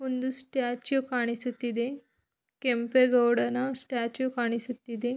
ಇಲ್ಲಿ ಸ್ಟ್ಯಾಚು ಕಾಣಿಸುತ್ತಿದೆ ಕೆಂಪೇಗೌಡನ ಸ್ಟ್ಯಾಚು ಕಾಣಿಸುತ್ತಿದೆ.